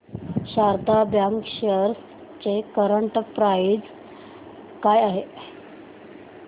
Sharda bank shares ची current price काय आहे